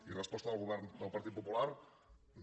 i resposta del govern del partit popular no